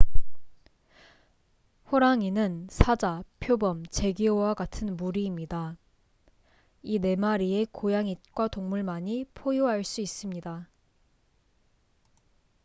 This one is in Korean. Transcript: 호랑이는 사자 표범 재규어와 같은 무리입니다 이 네 마리의 고양잇과 동물만이 포효할 수 있습니다